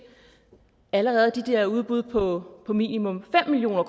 allerede er de der udbud på minimum fem million